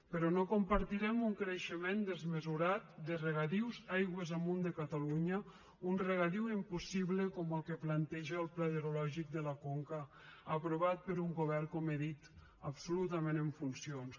però no compartirem un creixement desmesurat de regadius aigües amunt de catalunya un regadiu impossible com el que planteja el pla hidrològic de la conca aprovat per un govern com he dit absolutament en funcions